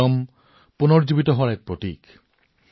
ইষ্টাৰে প্ৰত্যাশাৰ পুনৰুজ্জীৱিত হোৱাৰ প্ৰতীক